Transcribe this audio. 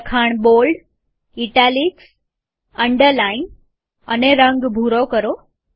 લખાણ bold italics underline અને રંગ ભૂરો કરો